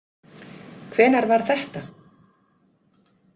Hvenær var þetta?